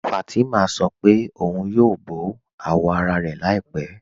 Fátimà sọ́ pẹ̀ ọ̀un yóò bọ awọ́ ara rẹ̀ làípẹ̀